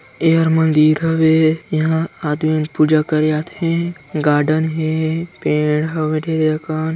एहर मंदिर हवे इहा आदमी पूजा करे आथे गार्डेन हे पेड़ हवय ढे जकन।